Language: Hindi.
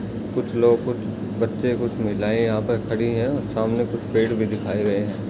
कुछ लोग कुछ बच्चे कुछ महिलाएं यहाँ पर खड़ी हैं। सामने कुछ पेड़ भी दिखाए गए है।